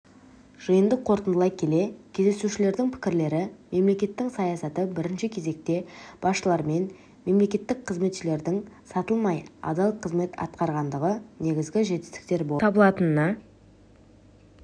жиынды қорытындылай келе кездесушілердің пікірлері мемлекеттің саясаты бірінші кезекте басшылармен мемлекеттік қазметшілердің сатылмай адал қызмет атқарғандығы негізгі жетістіктер болып табылатынына